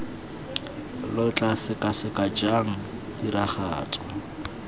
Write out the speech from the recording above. lo tla sekaseka jang tiragatso